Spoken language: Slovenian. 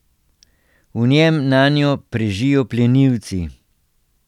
V njem nanjo prežijo plenilci.